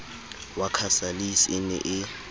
wa casalis e ne e